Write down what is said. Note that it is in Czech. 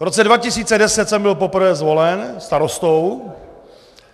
V roce 2010 jsem byl poprvé zvolen starostou.